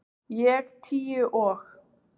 Ég tíu og